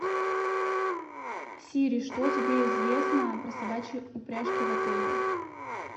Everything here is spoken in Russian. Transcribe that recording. сири что тебе известно про собачьи упряжки в отеле